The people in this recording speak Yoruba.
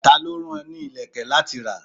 Ta ló rán ọ ní ilẹ̀kè láti rà?